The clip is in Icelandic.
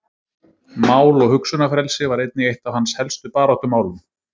Mál- og hugsunarfrelsi var einnig eitt af hans helstu baráttumálum.